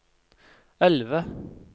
elve